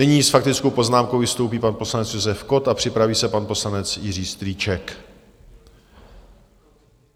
Nyní s faktickou poznámkou vystoupí pan poslanec Josef Kott a připraví se pan poslanec Jiří Strýček.